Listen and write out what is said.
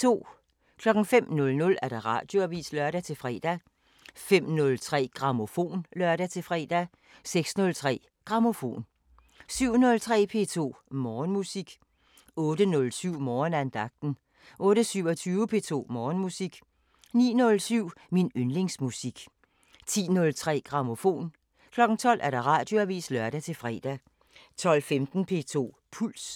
05:00: Radioavisen (lør-fre) 05:03: Grammofon (lør-fre) 06:03: Grammofon 07:03: P2 Morgenmusik 08:07: Morgenandagten 08:27: P2 Morgenmusik 09:07: Min yndlingsmusik 10:03: Grammofon 12:00: Radioavisen (lør-fre) 12:15: P2 Puls